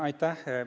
Aitäh!